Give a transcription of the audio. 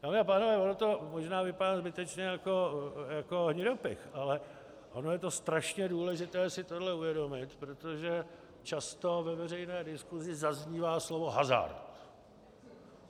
Dámy a pánové, ono to možná vypadá zbytečně jako hnidopich, ale ono je to strašně důležité si tohle uvědomit, protože často ve veřejné diskusi zaznívá slovo hazard.